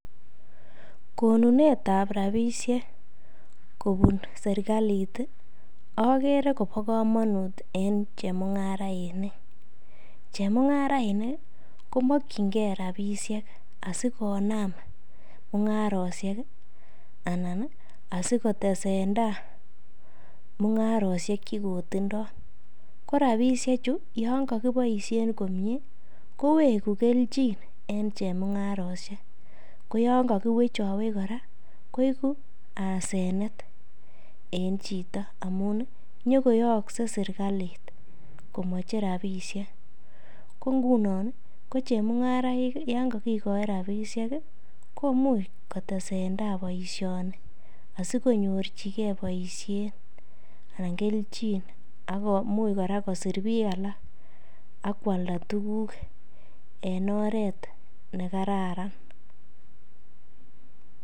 konunet ab rabisiek kobun serkalit okere kobo komonut en chemung'arainik, chemung'arainik komokyingen rabisiek asikonam mung'arosyek anan asikotesenda mung'arosiek chegotindo, ko rabisiechu yon kokiboisien komyee kowegu kelchin en chemung'arosye, ko yon kogiwechowech kora koibu asenet en chito amun nyogoyokse serkalit komoche rabisiek, ko ngunon ii ko chemung'araik yon kakigoi rabisiek komuch kotesenda boisioni asikonyorchige boisiet anan kelchin akomuch kora kosir biik alak ak kwalda tuguk en oreet nekararan.